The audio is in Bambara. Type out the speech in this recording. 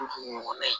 ɲɔgɔnna ye